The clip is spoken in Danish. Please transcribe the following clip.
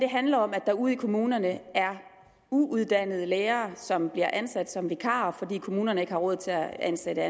handler om at der ude i kommunerne er uuddannede lærere som bliver ansat som vikarer fordi kommunerne ikke har råd til at ansætte